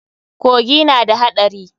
Kogi na da haɗari.